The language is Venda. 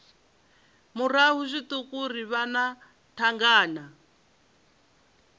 murahu zwiṱuku ri wana thangana